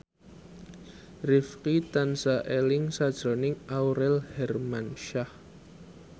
Rifqi tansah eling sakjroning Aurel Hermansyah